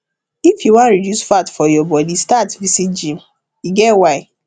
if you wan reduce fat for your body start visit gym e get why